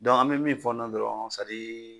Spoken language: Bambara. Dɔnku an me min fɔ nɔ dɔrɔn sadi